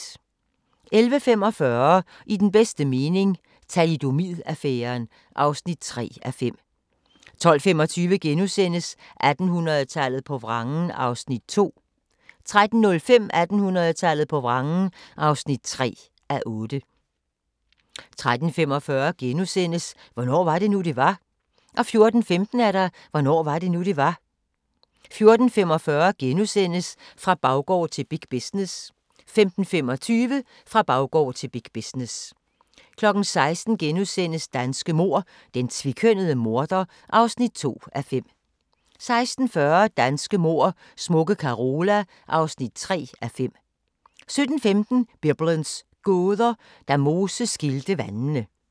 11:45: I den bedste mening – Thalidomid-affæren (3:5) 12:25: 1800-tallet på vrangen (2:8)* 13:05: 1800-tallet på vrangen (3:8) 13:45: Hvornår var det nu, det var? * 14:15: Hvornår var det nu, det var? 14:45: Fra baggård til big business * 15:25: Fra baggård til big business 16:00: Danske mord: Den tvekønnede morder (2:5)* 16:40: Danske mord: Smukke Carola (3:5) 17:15: Biblens gåder – Da Moses skilte vandene